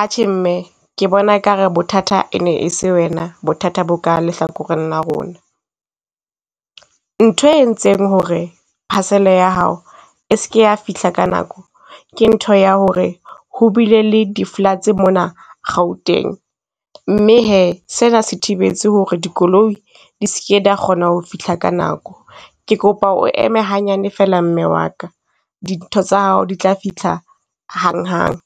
Atjhe, mme ke bona ekare bothata e ne e se wena, bothata bo ka lehlakoreng la rona. Nthwe e entseng ho re parcel-e ya hao e ske ya fihla ka nako, ke ntho ya ho re ho bile le di floods mona Gauteng, mme he se na se thibetse ho re dikoloi di ske da kgona ho fihla ka nako. Ke kopa o eme hanyane fela mme wa ka. Dintho tsa hao di tla fihla hang hang.